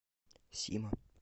сима